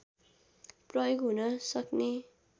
प्रयोग हुनसक्ने